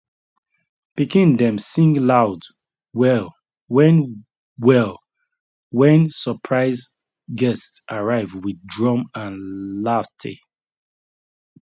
pikin dem sing loud well when well when surprise guests arrive with drum and laughte